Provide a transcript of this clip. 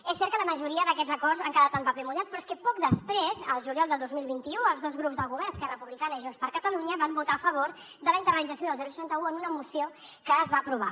és cert que la majoria d’aquests acords han quedat en paper mullat però és que poc després al juliol del dos mil vint u els dos grups del govern esquerra republicana i junts per catalunya van votar a favor de la internalització del seixanta un en una moció que es va aprovar